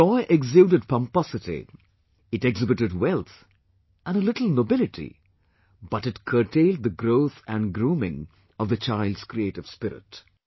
This toy exuded pomposity, it exhibited wealth and a little nobility, but it curtailed the growth and grooming of the child's creative spirit